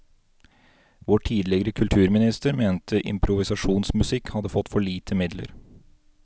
Vår tidligere kulturminister mente improvisasjonsmusikk hadde fått for lite midler.